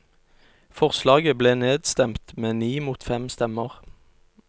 Forslaget ble nedstemt med ni mot fem stemmer.